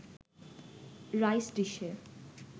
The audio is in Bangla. রাইস ডিশে